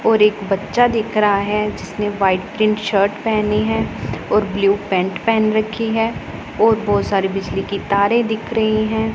और एक बच्चा दिख रहा है जिसने व्हाइट प्रिंट शर्ट पहनी है और ब्लू पैंट पहन रखी है और बहुत सारी बिजली की तारे दिख रही हैं।